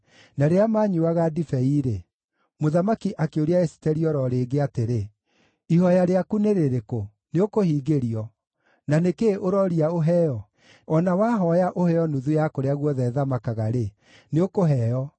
Na rĩrĩa maanyuuaga ndibei-rĩ, mũthamaki akĩũria Esiteri o ro rĩngĩ atĩrĩ, “Ihooya rĩaku nĩ rĩrĩkũ? Nĩũkũhingĩrio. Na nĩ kĩĩ ũrooria ũheo? O na wahooya ũheo nuthu ya kũrĩa guothe thamakaga-rĩ, nĩũkũheo.”